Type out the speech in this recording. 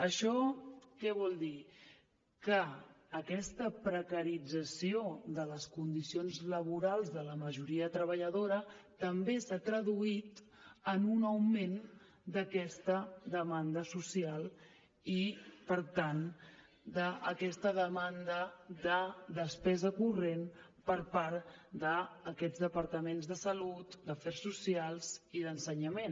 això què vol dir que aquesta precarització de les condicions laborals de la majoria treballadora també s’ha traduït en un augment d’aquesta demanda social i per tant d’aquesta demanda de despesa corrent per part d’aquestes departaments de salut d’afers socials i d’ensenyament